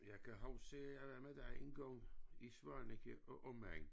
Jeg kan huske at jeg var med dig engang i Svaneke og omegn